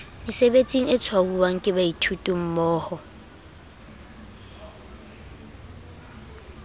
mesebetsing e tshwauwang ke baithutimmoho